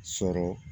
Sɔrɔ